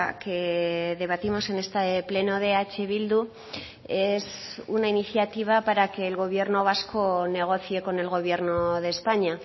que debatimos en este pleno de eh bildu es una iniciativa para que el gobierno vasco negocie con el gobierno de españa